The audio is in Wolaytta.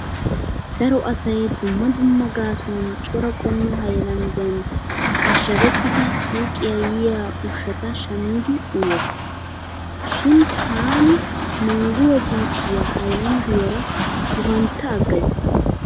Daro asay dumma dumma gaasuwan cora qommo haylanddiyan ashshagettidi suuqiya yiya ushshata shammidi uyees. Shin taani mangguwa juusiya haylanddiyara gufantta aggays.